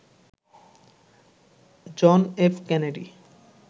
John F Kennedy